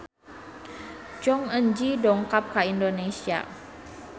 Jong Eun Ji dongkap ka Indonesia